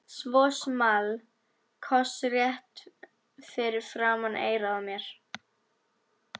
Svo small koss rétt fyrir framan eyrað á mér.